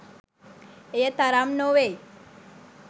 එය තරම් නොවෙයි.